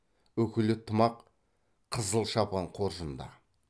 үкілі тымақ қызыл шапан қоржында